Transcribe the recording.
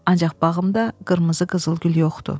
Ancaq bağımda qırmızı qızılgül yoxdur.